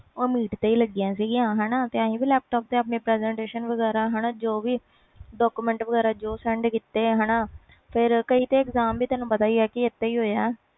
ਉਹ meet ਤੇ ਲੱਗੀਆਂ ਸੀ ਤੇ ਅਸੀਂ ਵੀ ਆਪਣੇ laptop ਤੇ presentation ਜੋ document ਵਗੈਰਾ ਜੋ ਵੀ send ਕੀਤੇ ਹਾਣਾ ਕਈ ਤੇ ਵੀ ਤੈਨੂੰ ਪਤਾ ਇਸ ਤੇ ਹੋਏ ਵ